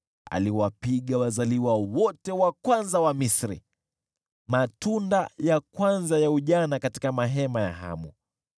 Aliwapiga wazaliwa wote wa kwanza wa Misri, matunda ya kwanza ya ujana katika mahema ya Hamu.